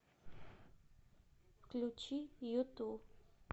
включи юту